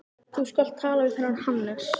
Þú skalt tala við þennan Hannes.